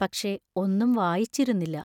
പക്ഷേ, ഒന്നും വായിച്ചിരുന്നില്ല.